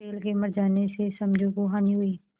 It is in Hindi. बैल के मर जाने से समझू को हानि हुई